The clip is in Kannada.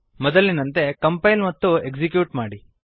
ಮೊದಲಿನಂತೆ ಕಂಪೈಲ್ ಮತ್ತು ಎಕ್ಸಿಕ್ಯೂಟ್ ಮಾಡಿ